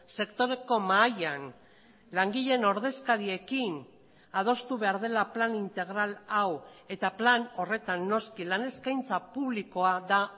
sektoreko mahaian langileen ordezkariekin adostu behar dela plan integral hau eta plan horretan noski lan eskaintza publikoa da